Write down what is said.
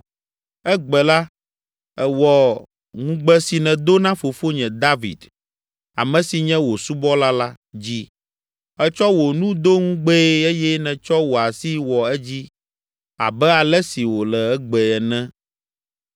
Egbe la, èwɔ ŋugbe si nèdo na fofonye, David ame si nye wò subɔla la, dzi. Ètsɔ wò nu do ŋugbee eye nètsɔ wò asi wɔ edzi abe ale si wòle egbe ene.